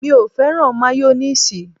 Mi ò fẹ́ràn máyónéèsì